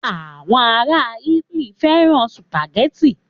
Àwọn ará Italy fẹ́ràn sùpàgẹ́tì.